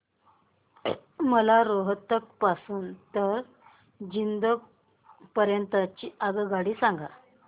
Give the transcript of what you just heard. मला रोहतक पासून तर जिंद पर्यंत ची आगगाडी सांगा